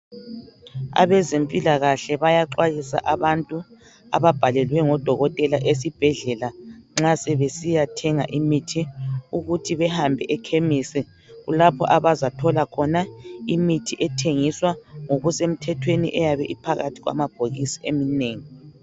Abezempilakahle bayaxwayisa abantu ababhalelwe ngodokotela esibhedlela. Nxa sebesiya thenga imithi ,ukuthi behambe ekhemisi . Kulapho abazathola khona imithi ethengiswa ngokusemthethweni . Ephakathi kwamabhokisi eminengi.